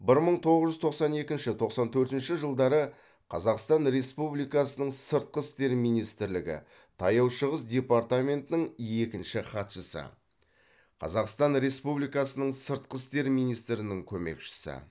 бір мың тоғыз жүз тоқсан екінші тоқсан төртінші жылдары қазақстан республикасының сыртқы істер министрлігі таяу шығыс департаментінің екінші хатшысы қазақстан республикасының сыртқы істер министрінің көмекшісі